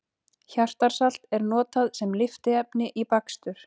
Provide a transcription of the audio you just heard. Hjartarsalt er notað sem lyftiefni í bakstur.